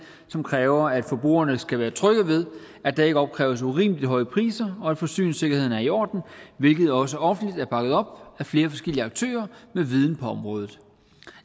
som kræver at forbrugerne skal være trygge ved at der ikke opkræves urimelig høje priser og forsyningssikkerheden er i orden hvilket også offentligt er bakket op af flere forskellige aktører med viden på området